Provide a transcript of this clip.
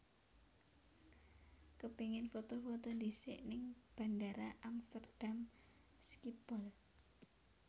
Kepingin foto foto ndhisik ning Bandara Amsterdam Schiphol